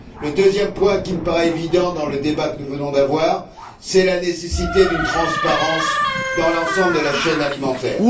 Le deuxième point qui me paraît évident dans le débat que nous venons d'avoir, c'est la nécessité d'une transparence dans l'ensemble de la chaîne alimentaire.